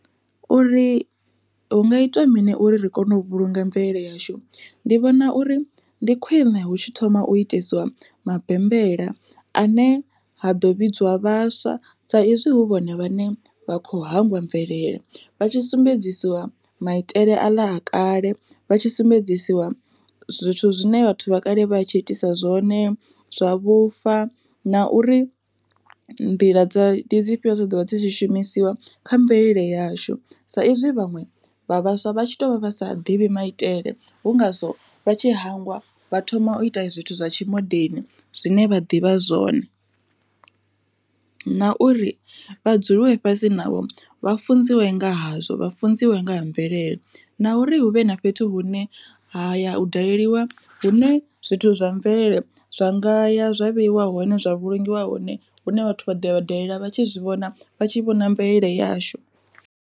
Uri hu nga itwa mini uri ri kone u vhulunga mvelele yashu, ndi vhona uri ndi khwiṋe hu tshi thoma u itesiwa mabembela ane ha ḓo vhidziwa vhaswa sa izwi hu vhone vhane vha kho hangwa mvelele vha tshi sumbedziwa maitele a kale vha tshi sumbedzisiwa zwithu zwine vhathu vha kale vha tshi itisa zwone zwa vhufa na uri nḓila dza ndi dzifhio dza ḓovha dzi tshi shumisiwa kha mvelele yashu sa izwi vhaṅwe vha vhaswa vha tshi to vha vha sa ḓivhi maitele hu ngazwo vha tshi hangwa vha thoma u ita zwithu zwa tshimondeni zwine vha ḓivha zwone. Na uri vha dzuliwe fhasi navho vha funziwe nga hazwo vha funziwe nga ha mvelele, na uri hu vhe na fhethu hune ha ya u daleliwa hu ne zwithu zwa mvelele zwa ngaya zwa vheiwa hone zwa vhulungiwa hone hune vhathu vha ḓoya vha dalela vhatshi zwi vhona vha tshi vhona mvelele yashu.